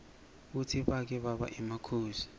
kutsi bake baba emakhosi